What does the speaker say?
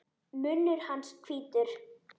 Munnur hans hvítur.